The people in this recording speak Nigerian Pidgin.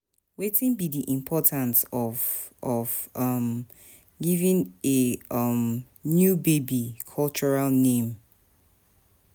wetin be di importance of of um giving a um new baby cultural name?